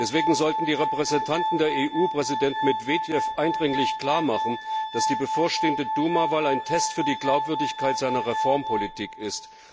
Deswegen sollten die Repräsentanten der EU Präsident Medvedev eindringlich klarmachen, dass die bevorstehende Duma Wahl ein Test für die Glaubwürdigkeit seiner Reformpolitik ist.